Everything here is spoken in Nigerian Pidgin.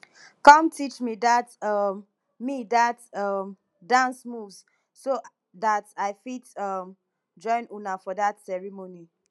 come teach me dat um me dat um dance moves so dat i fit um join una for dat ceremony